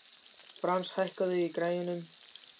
Frans, hækkaðu í græjunum.